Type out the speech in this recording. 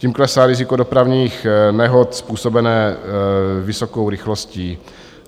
Tím klesá riziko dopravních nehod způsobené vysokou rychlostí.